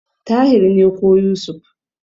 Tahir ne ko Yusuf.